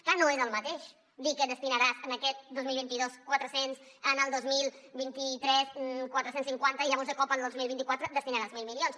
clar no és el mateix dir que destinaràs aquest dos mil vint dos quatre cents en el dos mil vint tres quatre cents i cinquanta i llavors de cop al dos mil vint quatre hi destinaràs els mil milions